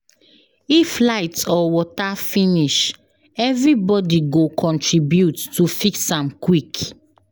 If light or water finish, everybody go contribute to fix am quick.